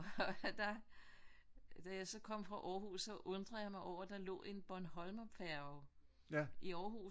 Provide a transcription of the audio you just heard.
Og da da jeg så kom fra Aarhus så undrede jeg mig over at der lå en Bornholmerfærge i Aarhus men det er åbenbart fordi de der Scanlines de øh hvis hvis de de mangler en færge et sted så sætter anden færge ind